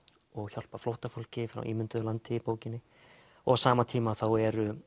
hjálpa flóttafólki frá ímynduðu landi í bókinni og á sama tíma þá eru